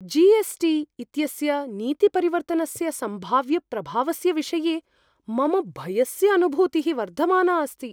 GST. इत्यस्य नीतिपरिवर्तनस्य सम्भाव्यप्रभावस्य विषये मम भयस्य अनुभूतिः वर्धमाना अस्ति।